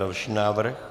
Další návrh.